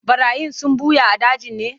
Ɓarayin sun ɓuya a dajin ne?